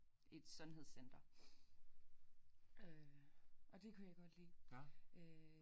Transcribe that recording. I et sundhedscenter øh og det kunne jeg godt lide øh